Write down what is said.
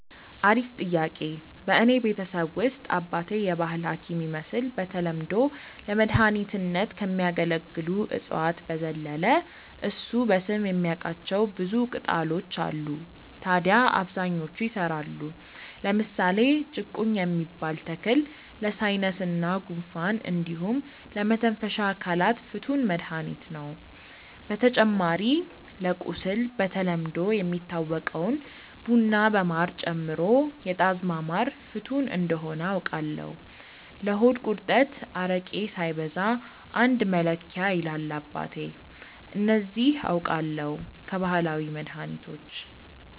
አሪፍ ጥያቄ፣ በእኔ ቤተሰብ ውስጥ አባቴ የባህል ሀኪም ይመስል በተለምዶ ለመድኃኒትነት ከሚያገለግሉ እፅዋት በዘለለ እሱ በስም የሚያቃቸው ብዙ ቅጣሎች አሉ ታድያ አብዛኞቹ ይሰራሉ። ለምሳሌ ጭቁኝ የሚባል ተክል ለሳይነስ እና ጉንፋን እንዲሁም ለመተንፈሻ አካላት ፍቱን መድሀኒት ነው። በተጨማሪ ለቁስል በተለምዶ የሚታወቀውን ቡና በማር ጨምሮ የጣዝማ ማር ፍቱን እንደሆነ አውቃለው። ለሆድ ቁርጠት አረቄ ሳይበዛ አንድ መለኪያ ይላል አባቴ። እነዚህ አውቃለው ከባህላዊ መድሀኒቶች።